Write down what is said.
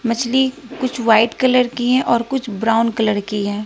मछली कुछ white colour की हैं और कुछ ब्राउन कलर की हैं।